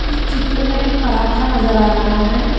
इस चित्र में पराठा नजर आ रहा है।